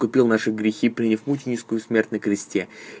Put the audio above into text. купил наши грехи приняв муческую смерть на кресте